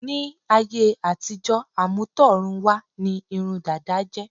Ní áyé àtijọ́, àmútọ̀run wá ní irun dada jẹ́.